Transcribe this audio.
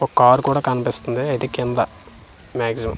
ఒక కార్ కూడా కనిపిస్తుంది అయితే కింద మాక్సిమం .